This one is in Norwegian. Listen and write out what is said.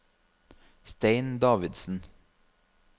Stein Davidsen